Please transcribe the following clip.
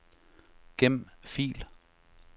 Gem fil.